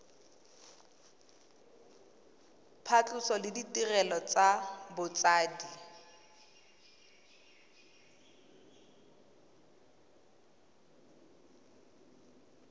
phatlhoso le ditirelo tsa botsadi